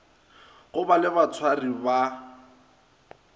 go ba le batshwari ba